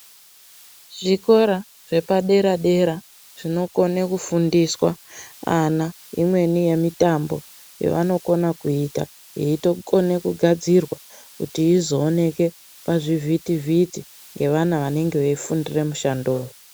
Zvikora zvepadera-dera, zvinokona kufundiswa ana imweni yemitambo yavanokona kuyita, yeitokona kugadzirwa, kuti izooneke pazvivhiti-vhiti ngevana vanenge veyifundire mushando.